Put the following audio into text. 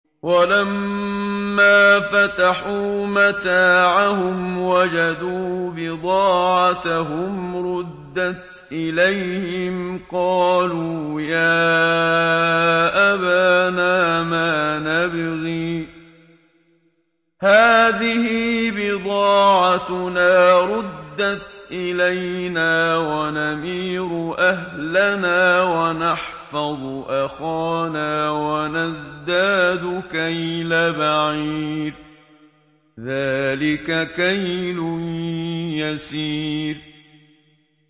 وَلَمَّا فَتَحُوا مَتَاعَهُمْ وَجَدُوا بِضَاعَتَهُمْ رُدَّتْ إِلَيْهِمْ ۖ قَالُوا يَا أَبَانَا مَا نَبْغِي ۖ هَٰذِهِ بِضَاعَتُنَا رُدَّتْ إِلَيْنَا ۖ وَنَمِيرُ أَهْلَنَا وَنَحْفَظُ أَخَانَا وَنَزْدَادُ كَيْلَ بَعِيرٍ ۖ ذَٰلِكَ كَيْلٌ يَسِيرٌ